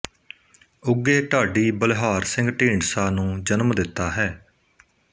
ਉੱਘੇ ਢਾਡੀ ਬਲਿਹਾਰ ਸਿੰਘ ਢੀਂਡਸਾ ਨੂੰ ਜਨਮ ਦਿੱਤਾ ਹੈ